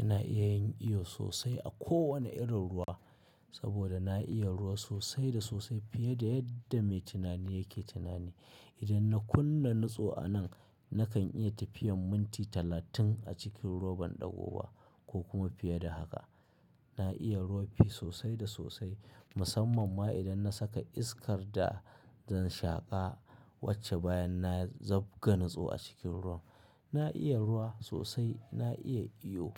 Ina iya yin iyo sosai a kowane irin ruwa saboda na iya ruwa sosai da sosai fiye da yadda mai tunani yake tunani. Idan na kunna nutso a nan, nakan iya tafiyan minti talatin a cikin ruwa ban ɗagoba ko kuma fiye da haka. Na iya ruwa sosai da sosai musamman ma idan na saka iskar da zan shaƙa wacce bayan na zabga nutso a cikin ruwa. Na iya ruwa sosai, na iya iyo